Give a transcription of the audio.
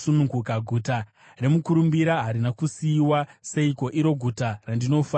Guta remukurumbira harina kusiyiwa seiko, iro guta randinofarira?